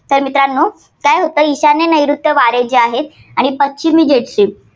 तर मित्रांनो काय होतं, ईशान्य - नैऋत्य वारे जे आहे, ते पश्चिमी जेमतेम